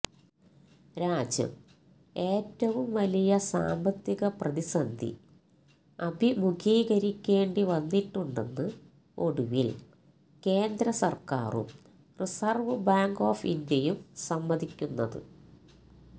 രാജ്യം ഏറ്റവും വലിയ സാമ്പത്തിക പ്രതിസന്ധി അഭിമുഖീകരിക്കേണ്ടി വന്നിട്ടുണ്ടെന്ന് ഒടുവില് കേന്ദ്രസര്ക്കാറും റിസര്വ്വ് ബാങ്ക് ഓഫ് ഇന്ത്യയും സമ്മതിക്കുന്നത്